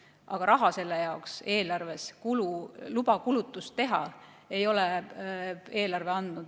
Aga raha selle jaoks eelarves ei ole, luba kulutust teha ei ole eelarve andnud.